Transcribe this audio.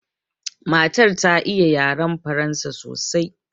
Matan ta iya yaran Faransa sosai.